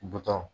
Butɔn